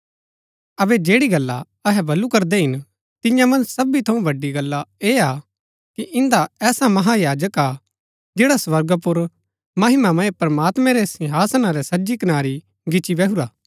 अबै जैड़ी गल्ला अहै बल्लू करदै हिन तियां मन्ज सबी थऊँ बड़ी गल्ला ऐह हा कि इन्दा ऐसा महायाजक हा जैडा स्वर्गा पुर महिमामय प्रमात्मैं रै सिंहासना रै सज्जी कनारी गिच्ची बैहुरा